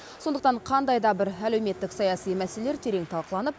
сондықтан қандай да бір әлеуметтік саяси мәселелер терең талқыланып